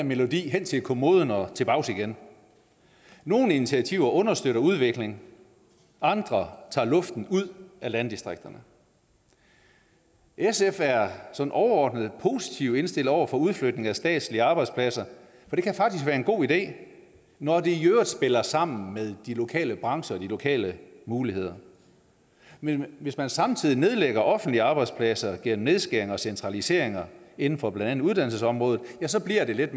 melodien hen til kommoden og tilbage igen nogle initiativer understøtter udvikling andre tager luften ud af landdistrikterne sf er sådan overordnet positivt indstillet over for udflytning af statslige arbejdspladser for det kan faktisk være en god idé når det i øvrigt spiller sammen med de lokale brancher og de lokale muligheder men hvis man samtidig nedlægger offentlige arbejdspladser gennem nedskæringer og centraliseringer inden for blandt andet uddannelsesområdet ja så bliver det lidt